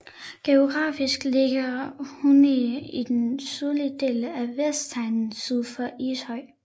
Geografisk ligger Hundige i den sydlige del af Vestegnen syd for Ishøj